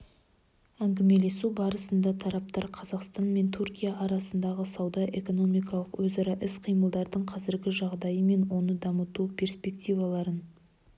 ңгімелесу барысында тараптар қазақстан мен түркия арасындағы сауда-экономикалық өзара іс-қимылдың қазіргі жағдайы мен оны дамыту перспективаларын